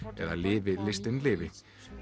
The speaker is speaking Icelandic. eða lifi listin lifi